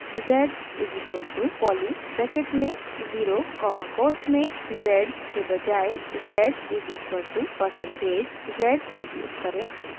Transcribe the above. z=poly bracket में 0 comma quotes में z के बजाए z=%परसेंटेजz उपयोग करें